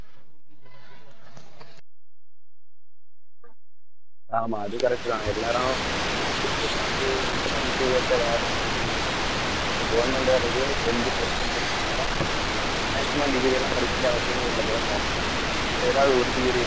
ஆமா அது correct தான் எல்லாரும் இனி வந்து படிப்பு ஏத்த வேலை இருக்க வாய்ப்பு இல்ல government வேலைக்கே tenth twelfth ன்னு maximum degree எல்லாம் படிக்க வேண்டிய அவசியமே இல்லை போல தோணும், இப்ப ஏதாவது ஒரு degree